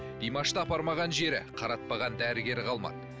димашты апармаған жері қаратпаған дәрігері қалмады